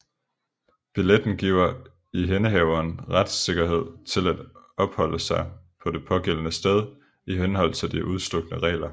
Billetten giver ihændehaveren retssikkerhed til at opholde sig på det pågældende sted i henhold til de udstukne regler